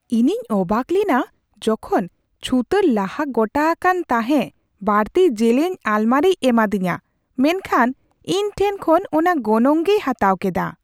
ᱤᱧᱤᱧ ᱚᱵᱟᱠ ᱞᱮᱱᱟ ᱡᱚᱠᱷᱚᱱ ᱪᱷᱩᱛᱟᱹᱨ ᱞᱟᱦᱟ ᱜᱚᱴᱟ ᱟᱠᱟᱱ ᱛᱟᱦᱮᱸᱜ ᱵᱟᱹᱲᱛᱤ ᱡᱮᱞᱮᱧ ᱟᱞᱢᱟᱨᱤᱭ ᱮᱢᱟᱫᱤᱧᱟ, ᱢᱮᱱᱠᱷᱟᱱ ᱤᱧ ᱴᱷᱮᱱ ᱠᱷᱚᱱ ᱚᱱᱟ ᱜᱚᱱᱚᱝ ᱜᱮᱭ ᱦᱟᱛᱟᱣ ᱠᱮᱫᱟ ᱾